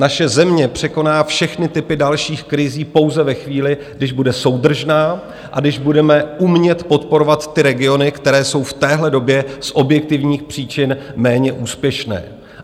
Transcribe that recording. Naše země překoná všechny typy dalších krizí pouze ve chvíli, když bude soudržná a když budeme umět podporovat ty regiony, které jsou v téhle době z objektivních příčin méně úspěšné.